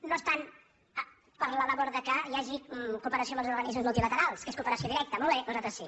no estan per la labor que hi hagi cooperació amb els organismes multilaterals que és cooperació directa molt bé nosaltres sí